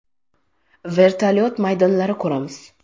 Vertolyuot maydonlari quramiz.